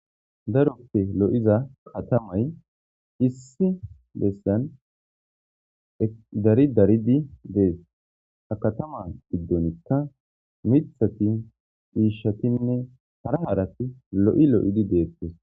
daroppe lo7iza katamay issi beessan dari daridi dees ha katama giddonikka mithati hiishatinne hara harati lo7i lo7idi deettes